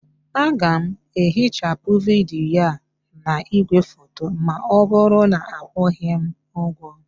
Aga m ehichapụ vidiyo a na igwefoto ma ọ bụrụ na akwụghị m ụgwọ